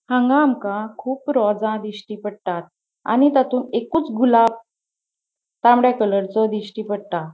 हांगा आमका खूप रॉजा दिश्टी पट्टात आणि तातून एकूच गुलाब तामड़े कलरचो दिश्टी पट्टा.